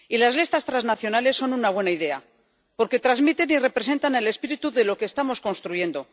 Y las listas transnacionales son una buena idea, porque transmiten y representan el espíritu de lo que estamos construyendo.